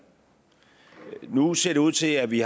nu ser det ud til at vi